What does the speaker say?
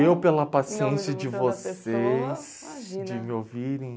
E eu pela paciência de vocês... Imagina... De me ouvirem.